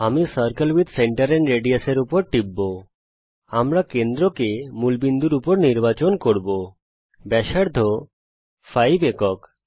আমি circle with centre and radius এর উপর টিপব আমরা কেন্দ্রকে মূলবিন্দুর উপর নির্বাচন করব ব্যাসার্ধ 5 একক